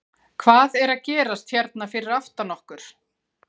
Hvað er að gerast hérna fyrir aftan okkur?